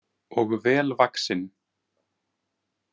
Og vel vaxinn.